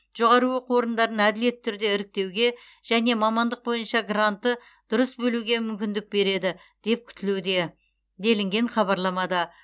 жоғары оқу орындарын әділетті түрде іріктеуге және мамандық бойынша гранты дұрыс бөлуге мүмкіндік береді деп күтілуде делінген хабарламада